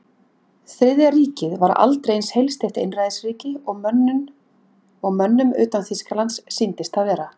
Þriðja ríkið var aldrei eins heilsteypt einræðisríki og mönnum utan Þýskalands sýndist það vera.